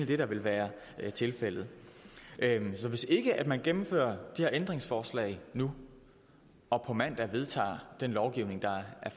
det der vil være tilfældet så hvis ikke man gennemfører de her ændringsforslag nu og på mandag vedtager den lovgivning der er